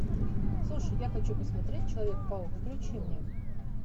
слушай я хочу посмотреть человек паук включи мне